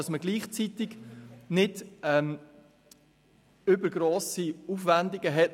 Gleichzeitig hat man keine übergrossen Aufwendungen.